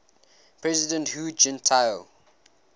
president hu jintao